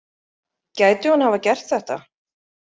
Gæti hún hafa gert þetta?